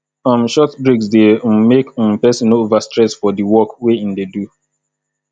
um short breaks de um make um persin no over stress for di work wey in de do